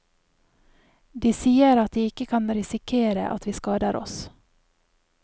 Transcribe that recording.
De sier at de ikke kan risikere at vi skader oss.